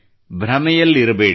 ಭ್ರಮೆಯಲ್ಲಿರಬೇಡಿ